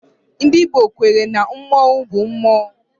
Ndị Igbo kwere na mmonwu bụ mmụọ